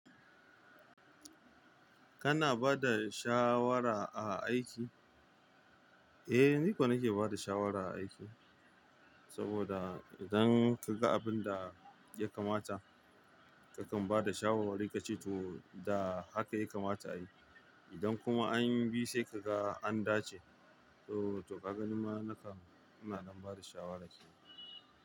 Kana ba da shawara a aiki? Eh, ni ko nake ba da shawara a aiki. Saboda idan ka ga abin da ya kamata, ka kan ba da shawarwari ka ce to da haka ya kamata ayi. Idan kuma an yi bi sai ka ga an dace, to, to ka ganin ma naka, kana nan ba da shawara ce.